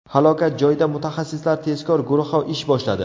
Halokat joyida mutaxassislar tezkor guruhi ish boshladi.